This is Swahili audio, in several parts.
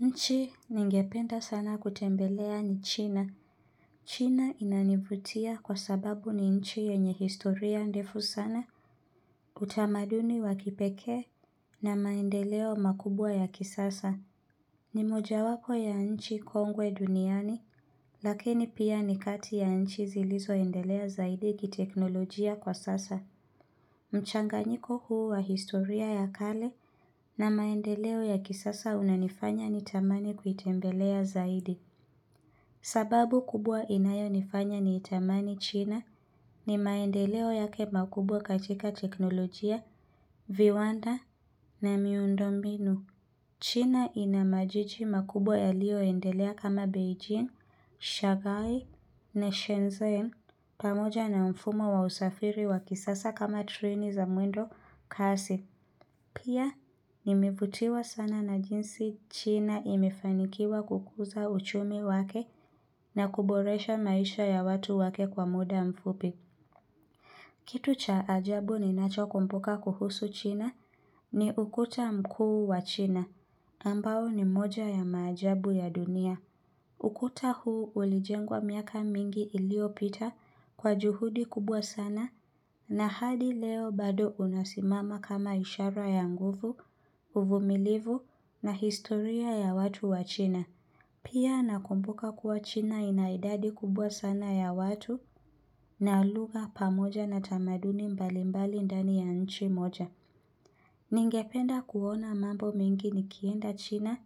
Nchi ningependa sana kutembelea ni China. China inanivutia kwa sababu ni nchi yenye historia ndefu sana utamaduni wa kipekee na maendeleo makubwa ya kisasa. Ni mojawapo ya nchi kongwe duniani lakini pia ni kati ya nchi zilizoendelea zaidi kiteknolojia kwa sasa. Mchanganyiko huu wa historia ya kale na maendeleo ya kisasa unanifanya ni tamani kuitembelea zaidi. Sababu kubwa inayonifanya ni tamani China ni maendeleo yake makubwa katika teknolojia, viwanda na miundo mbinu. China ina majiji makubwa yaliyoendelea kama Beijing, Shagai na Shenzhen pamoja na mfumo wa usafiri wa kisasa kama treni za mwendo kasi. Pia nimevutiwa sana na jinsi China imefanikiwa kukuza uchumi wake na kuboresha maisha ya watu wake kwa muda mfupi. Kitu cha ajabu ninacho kumbuka kuhusu china ni ukuta mkuu wa china, ambao ni moja ya maajabu ya dunia. Ukuta huu ulijengwa miaka mingi iliyopita kwa juhudi kubwa sana na hadi leo bado unasimama kama ishara ya nguvu, uvumilivu na historia ya watu wa china. Pia nakumbuka kuwa china ina idadi kubwa sana ya watu, na lugha pamoja na tamaduni mbalimbali ndani ya nchi moja. Ningependa kuona mambo mingi nikienda china,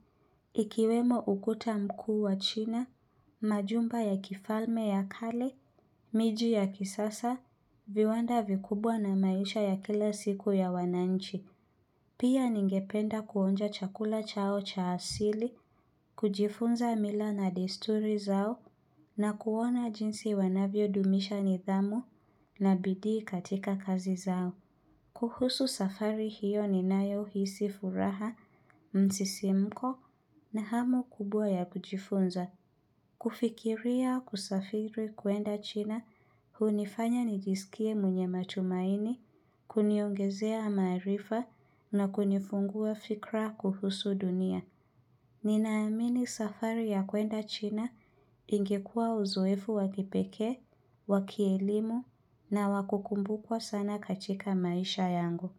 ikiwemo ukuta mkuu wa china, majumba ya kifalme ya kale, miji ya kisasa, viwanda vikubwa na maisha ya kila siku ya wananchi. Pia ningependa kuonja chakula chao cha asili kujifunza mila na desturi zao na kuona jinsi wanavyo dumisha nidhamu na bidii katika kazi zao kuhusu safari hiyo ninayohisi furaha msisimko na hamu kubwa ya kujifunza kufikiria kusafiri kuenda china hunifanya nijisikie mwenye matumaini Kuniongezea maarifa na kunifungua fikra kuhusu dunia Ninaamini safari ya kwenda china ingekuwa uzoefu wa kipekee, wa kielimu na wa kukumbukwa sana katika maisha yangu.